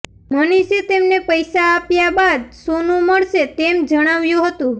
મનીષે તેમને પૈસા આપ્યા બાદ સોનું મળશે તેમ જણાવ્યુ હતું